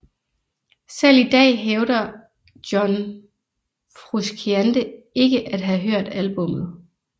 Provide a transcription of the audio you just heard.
Selv i dag hævder John Frusciante ikke at have hørt albummet